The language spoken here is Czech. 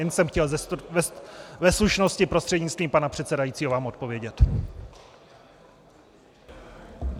Jenom jsem chtěl ve slušnosti prostřednictvím pana předsedajícího vám odpovědět.